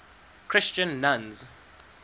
christian nuns